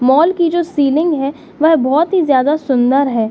Mall की जो ceiling है वो बोहत ही ज्यादा सुन्दर है।